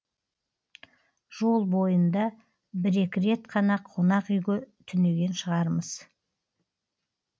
жол бойында бір екі рет қана қонақ үйге түнеген шығармыз